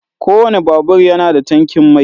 kowane babur yana da tankin mai.